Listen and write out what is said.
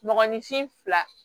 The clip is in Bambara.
Mɔgɔninfin fila